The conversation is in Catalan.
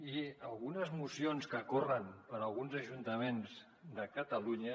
i algunes mocions que corren per alguns ajuntaments de catalunya